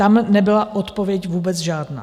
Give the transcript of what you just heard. Tam nebyla odpověď vůbec žádná.